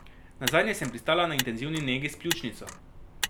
Nazadnje sem pristala na intenzivni negi s pljučnico.